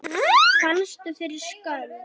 Fannstu fyrir skömm?